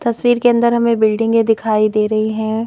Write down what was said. तस्वीर के अंदर हमें बिल्डिंगें दिखाई दे रही हैं।